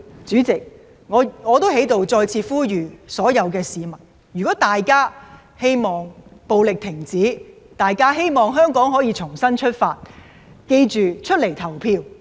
主席，我在此再次呼籲所有市民，如果大家希望停止暴力，希望香港可以重新出發，記得出來投票。